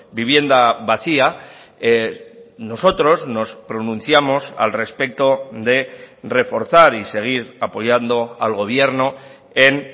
vivienda vacía nosotros nos pronunciamos al respeto de reforzar y seguir apoyando al gobierno en